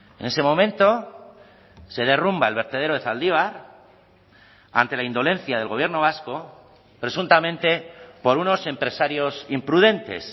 en ese momento se derrumba el vertedero de zaldibar ante la indolencia del gobierno vasco presuntamente por unos empresarios imprudentes